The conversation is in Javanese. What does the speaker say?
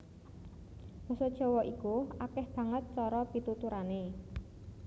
Basa Jawa iku akèh banget cara pituturané